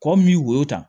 Kɔ min y'o ta